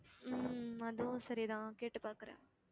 உம் அதுவும் சரிதான் கேட்டுப்பாக்குறேன்